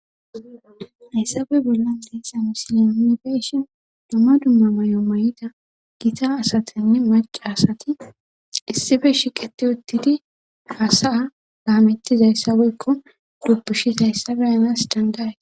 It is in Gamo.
Hayssabey bollan deessa misile nifeshin dumma dumma may'o may'ida gita asatenne marqi asati issife shiqeti uttidi haasa laamittiza hayssabeykko dupushisa hayssabe anas dandaaye.